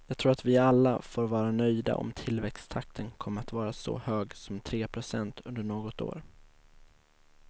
Jag tror att vi alla får vara nöjda om tillväxttakten kommer att vara så hög som tre procent under något år.